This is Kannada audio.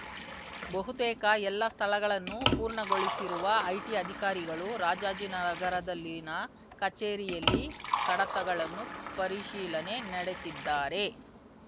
ಬಹುತೇಕ ಎಲ್ಲಾ ಸ್ಥಳಗಳನ್ನು ಪೂರ್ಣಗೊಳಿಸಿರುವ ಐಟಿ ಅಧಿಕಾರಿಗಳು ರಾಜಾಜಿನಗರದಲ್ಲಿನ ಕಚೇರಿಯಲ್ಲಿ ಕಡತಗಳನ್ನು ಪರಿಶೀಲನೆ ನಡೆಸಿದ್ದಾರೆ